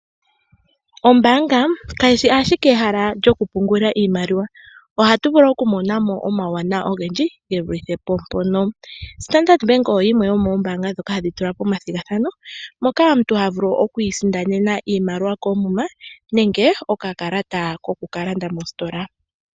Ombaanga kayi shi ashike ehala lyoku pungula iimaliwa, ohatu vulu oku mona mo omauwanawa ogendji ge vulithe po mpono. Standard Bank oyo yimwe yomoombanga ndhoka hadhi tula omathigathano, moka omuntu ha vulu oku isindanena iimaliwa koomuma nenge oka kalata ko ku ka landa mositola.